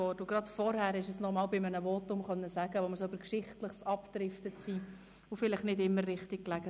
Und gerade vorhin konntest du es in einem Votum noch einmal sagen, als wir in Geschichtliches abdrifteten und vielleicht nicht immer richtig lagen.